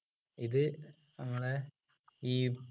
ഇത് നമ്മളെ ഈ